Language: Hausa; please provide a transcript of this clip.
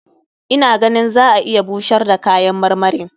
Ina ganin za a iya busar da kayan marmarin.